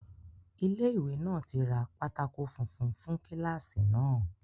Ilé ìwé náà tí ra pátákó funfun fún kíláàsì náà